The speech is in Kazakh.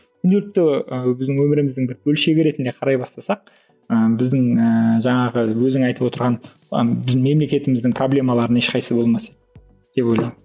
біздің өміріміздің бір бөлшегі ретінде қарай бастасақ ыыы біздің ііі жаңағы өзің айтып отырған ы біздің мемлекетіміздің проблемаларының ешқайсысы болмас еді деп ойлаймын